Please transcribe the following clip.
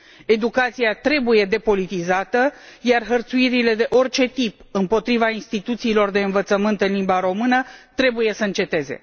Educația trebuie depolitizată, iar hărțuirile de orice tip împotriva instituțiilor de învățământ în limba română trebuie să înceteze.